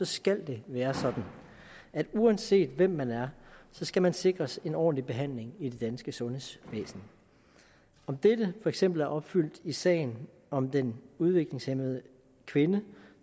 skal det være sådan at uanset hvem man er skal man sikres en ordentlig behandling i det danske sundhedsvæsen om dette for eksempel er opfyldt i sagen om den udviklingshæmmede kvinde